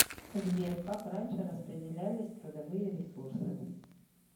сбер как раньше распределялись трудовые ресурсы